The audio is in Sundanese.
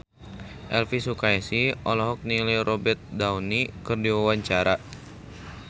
Elvi Sukaesih olohok ningali Robert Downey keur diwawancara